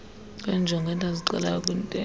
kweenjongo endazixelayo kwintetho